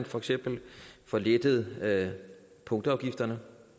for eksempel får lettet punktafgifterne